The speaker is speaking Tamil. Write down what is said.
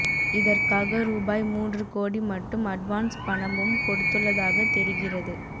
இதற்காக ரூபாய் மூன்று கோடி மட்டும் அட்வான்ஸ் பணமும் கொடுத்துள்ளதாக தெரிகிறது